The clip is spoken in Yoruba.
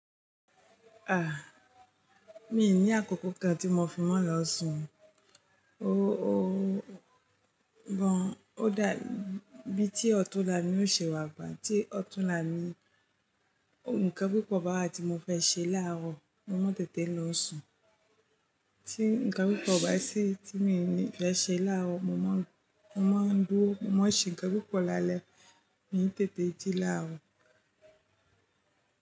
Mi ní àkókò kan tí mo fi máa ń lọ sùn. Gan, ó dà bí i títi ọ̀túnla ni yóò ṣe wà ba mi. Tí ọ̀túnla mi, nǹkan pípọ̀ bá wa ti mọ fẹ́ ṣe láàárọ̀, mo máa tètè lọ sùn. Tí nǹkan pípọ̀ bá sì tí mo ní fẹ́ ṣe láàárọ̀, mo máa dúró, mo máa ṣe nǹkan pípọ̀ lálẹ́, mi n tètè jí láàárọ̀.